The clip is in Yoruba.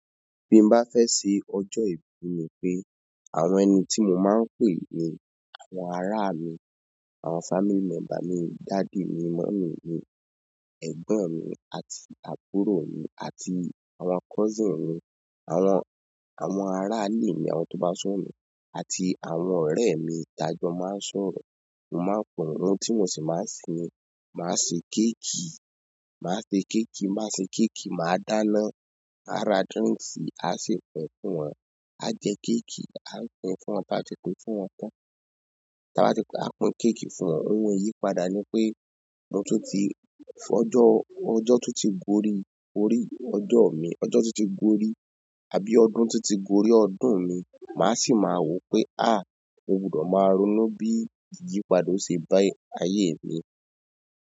Bí mọ bá fẹ́ ṣe ọjọ́ ìbí mi pé, àwọn ẹni tí mo máa ń pè ní àwọn ara mi, àwọn family member mi, dádì mi, mọ́mì mi, ẹ̀gbọ́n mi àti àbúrò mi àti àwọn cousin mi, àwọn, àwọn ará ilé mi, àwọn tó bá súnmọ́ mi, àti àwọn ọrẹ mi taa jọ máa ń sọ̀rọ̀. Mo máa pe wọn, ohun tí mo ṣì máa ń se ni, máa se kéèkì, máa se kéèkì, máa se kéèkì, máa dáná, á ra drinks, á si pín fún wọn, á jẹ kéèkì, á pín fún wọn, tá ba ti pín fún wọn tán. Tá bá ti pín, a pín kéèkì fún wọn. Ohun ìyípadà ni pé, mo tun tí fọ́jọ́, ọjọ́ tó ti gorí, orí ọjọ́ mi, ọjọ́ tun ti gorí, àbí ọdún tun ti gorí ọdún mi, màá sì máa wo pé "àá, mo gbùdọ̀ máa ronú bí ìyípadà ó se bá ayé mi."